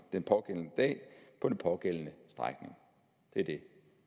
den pågældende dag på den pågældende strækning det er det